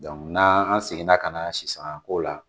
n'an seginna ka na sisanga ko la